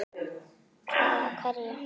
Hvað af hverju?